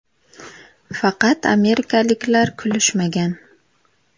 Faqat amerikaliklar kulishmagan.